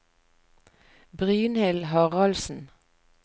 Brynhild Haraldsen